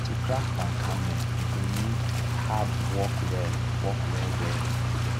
to crack palm kernel u go need hard work well work well well